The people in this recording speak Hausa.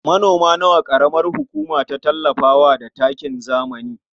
Manoma nawa ƙaramar hukuma ta tallafa wa da takin zamani?